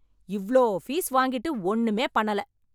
இவ்ளோ பீஸ் வாங்கிட்டு ஒண்ணுமே பண்ணல.